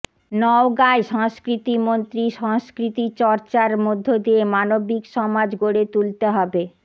নওগাঁয় সংস্কৃতিমন্ত্রী সংস্কৃতিচর্চার মধ্য দিয়ে মানবিক সমাজ গড়ে তুলতে হবে